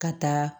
Ka taa